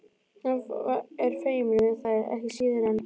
Hann er feiminn við þær ekki síður en